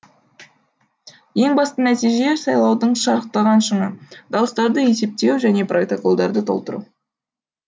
ең басты нәтиже сайлаудың шарықтаған шыңы дауыстарды есептеу және протоколдарды толтыру